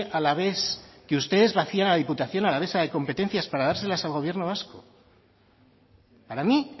alavés que ustedes vacían la diputación alavesa de competencias para dárselas al gobierno vasco para mí